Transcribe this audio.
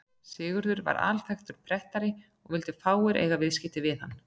Sigurður var alþekktur prettari og vildu fáir eiga viðskipti við hann.